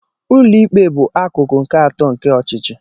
Ụlọikpe bụ akụkụ nke atọ nke ọchịchị.